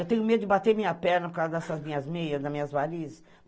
Eu tenho medo de bater minha perna por causa dessas minhas meias, das minhas varizes